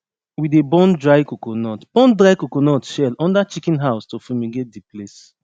we dey burn dry coconut burn dry coconut shell under chicken house to fumigate the place